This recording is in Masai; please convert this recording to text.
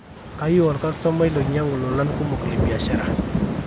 keyieu olkastomai neinyangu lolan kumok le biashara